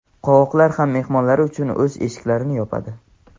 qovoqlar ham mehmonlar uchun o‘z eshiklarini yopadi.